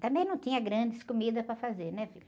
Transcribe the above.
Também não tinha grandes comidas para fazer, né, filho?